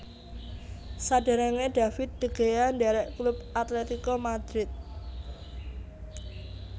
Saderenge David de Gea ndherek klub Atlético Madrid